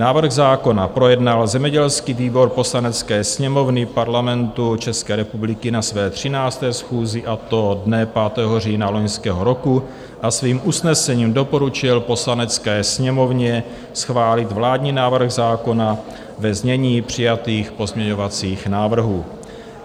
Návrh zákona projednal zemědělský výbor Poslanecké sněmovny Parlamentu České republiky na své 13. schůzi, a to dne 5. října loňského roku, a svým usnesením doporučil Poslanecké sněmovně schválit vládní návrh zákona ve znění přijatých pozměňovacích návrhů.